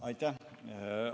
Aitäh!